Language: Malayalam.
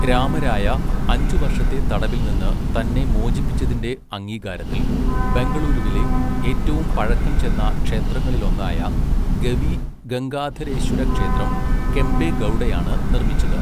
രാമരായ അഞ്ചു വർഷത്തെ തടവിൽ നിന്ന് തന്നെ മോചിപ്പിച്ചതിന്റെ അംഗീകാരത്തിൽ ബെംഗളൂരുവിലെ ഏറ്റവും പഴക്കം ചെന്ന ക്ഷേത്രങ്ങളിലൊന്നായ ഗവി ഗംഗാധരേശ്വര ക്ഷേത്രം കെംപെ ഗൗഡയാണ് നിർമ്മിച്ചത്.